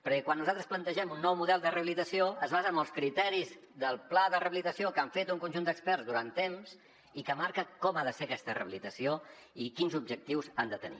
perquè quan nosaltres plantegem un nou model de rehabilitació es basa en els criteris del pla de rehabilitació que han fet un conjunt d’experts durant temps i que marca com ha de ser aquesta rehabilitació i quins objectius han de tenir